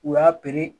U y'a pere